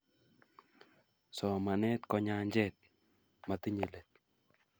Somanet ko nyanjet motinyei let